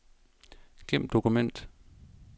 Gem dokument.